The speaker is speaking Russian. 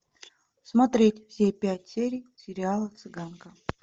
смотреть все пять серий сериала цыганка